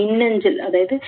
மின்னஞ்சல்